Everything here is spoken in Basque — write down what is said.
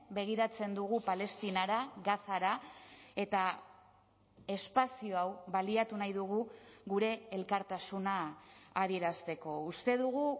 begiratzen dugu palestinara gazara eta espazio hau baliatu nahi dugu gure elkartasuna adierazteko uste dugu